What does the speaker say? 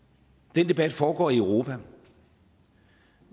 den debat foregår i europa